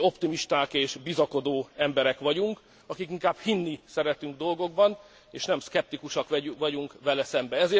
Mi optimisták és bizakodó emberek vagyunk, akik inkább hinni szeretünk dolgokban, és nem szkeptikusak vagyunk velük szemben.